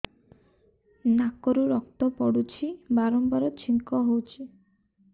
ନାକରୁ ରକ୍ତ ପଡୁଛି ବାରମ୍ବାର ଛିଙ୍କ ହଉଚି